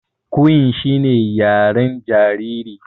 Cooing shine yaren jariri.